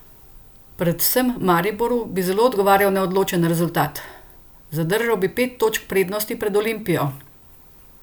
Predvsem Mariboru bi zelo odgovarjal neodločen rezultat: "Zadržal bi pet točk prednosti pred Olimpijo.